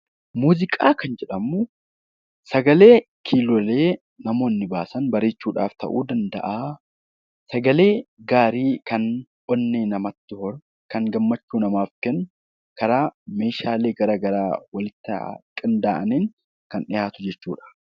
Muuziqaa kan jedhamu sagalee kiilolee namoonni baasan bareechuudhaaf ta'uu danda'a. Sagalee gaarii kan onnee namatti horu, gammachuu namaaf kennu, meeshaalee garaagaraa waliin ta'aa kan dhiyaatu jechuudha.